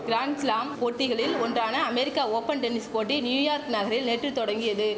grand slam போட்டிகளில் ஒன்றான America open tennis போட்டி நியூயார்க் நகரில் நேற்று தொடங்கியது